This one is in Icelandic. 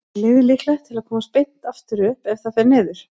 Er liðið líklegt til að komast beint aftur upp ef það fer niður?